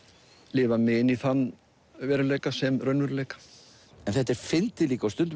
lifa mig inn í þann veruleika sem raunveruleika en þetta er fyndið líka og stundum